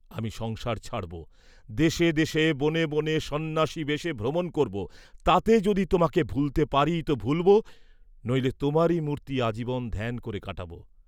আমি সংসার ছাড়ব, দেশে দেশে বনে বনে সন্ন্যাসীবেশে ভ্রমণ করব, তাতে যদি তোমাকে ভুলতে পারি তো ভুলব, নইলে তোমারই মূর্তি আজীবন ধ্যান করে কাটাব।